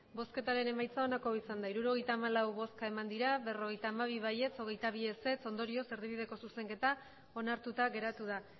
emandako botoak hirurogeita hamalau bai berrogeita hamabi ez hogeita bi ondorioz erdibideko zuzenketa onartuta geratu da